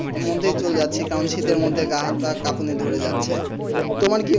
মন্দির চলে যাচ্ছি কারন শীতের মধ্যে গা হাত পা কাঁপুনি ধরে যাচ্ছে তোমার কি,